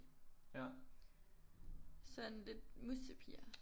Sådan lidt mussepiger